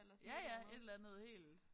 Ja ja et eller andet helt